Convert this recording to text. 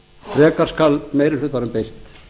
frekar skal meiri hlutanum beitt